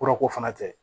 Kurako fana tɛ